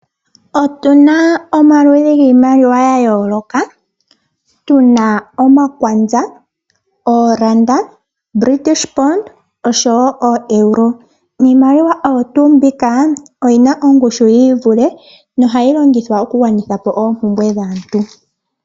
Otu na omaludhi giimaliwa yayooloka. Tu na omakwanza, oolanda, ooponda osho ooeuro. Iimaliwa oyo tuumbika, oyi na ongushu yiivule no hayi longithwa oku gwanithapo oompumbwe dhaantu.